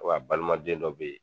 a balimaden dɔ bɛ ye.